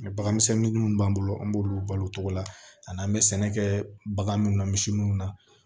bagan misɛnnin munnu b'an bolo an b'olu balo o cogo la ani an be sɛnɛ kɛɛ bagan munnu na misi munnu na